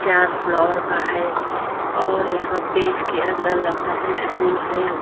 चार फ्लौर का है और यहाँ पे इसके अन्दर लगता है स्कूल है।